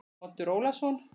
Oddur Ólason.